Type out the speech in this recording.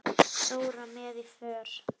Dóra með í för.